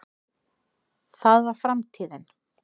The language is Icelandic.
það var framtíðin.